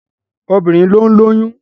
Obìnrin ló ń lóyún.